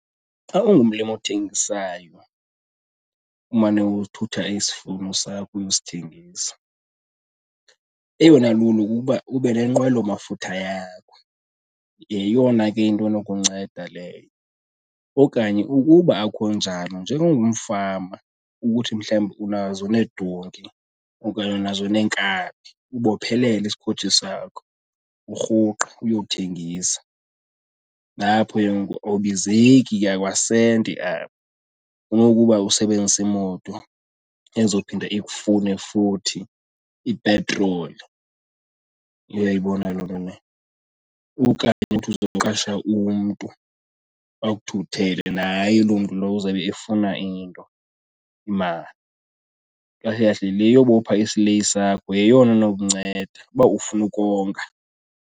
Xa ungumlimi othengisayo, umane uthutha isivuno sakho uyosithengisa, eyona lulo kukuba ube nenqwelomafutha yakho yeyona ke into enokunceda leyo. Okanye ukuba akunjalo, njengongumfama ukuthi mhlawumbi unazo needonki okanye unazo neenkabi, ubophelele isikhoji sakho urhuqe uyothengisa. Nalapho ke ngoku awubizeki kwakasenti apho kunokuba usebenzise imoto ezophinda ikufune futhi ipetroli. Uyayibona loo nto leyo? Okanye uthi uzoqasha umntu akuthuthele, naye loo mntu lowo uzawube efuna into imali. Kahle kahle le yobopha isileyi sakho yeyona inokunceda uba ufuna ukonga.